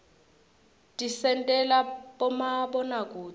tisentela bomabonakudze